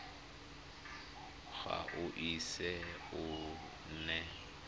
ga o ise o nne